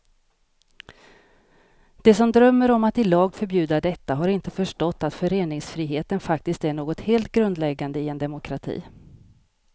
De som drömmer om att i lag förbjuda detta har inte förstått att föreningsfriheten faktiskt är något helt grundläggande i en demokrati.